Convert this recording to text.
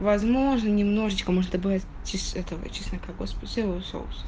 возможно немножечко можешь добавять чёс этого чеснока господи соевого соуса